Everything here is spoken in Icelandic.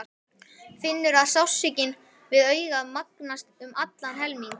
Finnur að sársaukinn við augað magnast um allan helming.